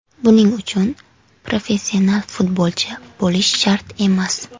Buning uchun professional futbolchi bo‘lish shart emas.